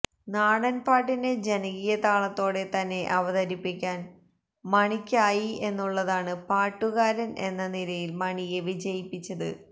നാടൻ പാട്ടിനെ ജനകീയതാളത്തോടെതന്നെ അവതരിപ്പിക്കാൻ മണിക്കായി എന്നുള്ളതാണ് പാടുകാരൻ എന്ന നിലയിൽ മണിയെ വിജയിപ്പിച്ചത്